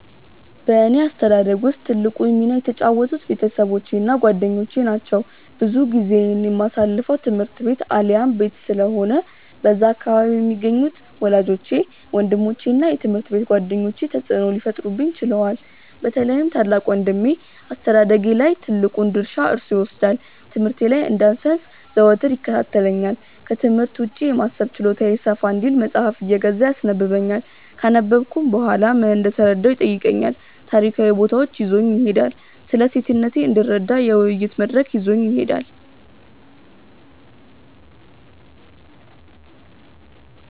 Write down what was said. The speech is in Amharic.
በእኔ አስተዳደግ ውስጥ ትልቁን ሚና የተጫወቱት ቤተሰቦቼ እና ጓደኞቼ ናቸው። ብዙ ጊዜዬን የማሳልፈው ትምህርት ቤት አሊያም ቤት ስለሆነ በዛ አካባቢ የሚገኙት ወላጆቼ፤ ወንድሞቼ እና የትምሀርት ቤት ጓደኞቼ ተጽእኖ ሊፈጥሩብኝ ችለዋል። በተለይም ታላቅ ወንድሜ አስተዳደጌ ላይ ትልቁን ድርሻ እርሱ ይወስዳል። ትምህርቴ ላይ እንዳልሰንፍ ዘወትር ይከታተለኛል፤ ክትምህርት ውጪ የማሰብ ችሎታዬ ሰፋ እንዲል መጽሃፍ እየገዛ ያስነበብኛል፤ ካነበብኩም በኋላ ምን እንደተረዳሁ ይጠይቀኛል፤ ታሪካዊ ቦታዎች ይዞኝ ይሄዳል፤ ስለሴትነቴ እንድረዳ የውይይት መድረክ ላይ ይዞኝ ይሄዳል።